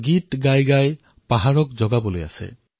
और गागा के पहाड़ों को जगाना है मुझे